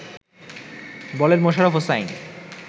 বলেন মোশাররাফ হোসাইন